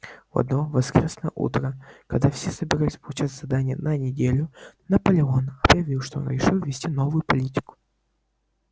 в одно воскресное утро когда все собирались получать задания на неделю наполеон объявил что он решил ввести новую политику